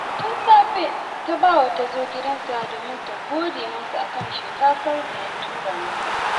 Rabi ta gode wa Salisu saboda gurbin karatun da ya samo wa ‘yarta